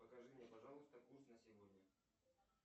покажи мне пожалуйста курс на сегодня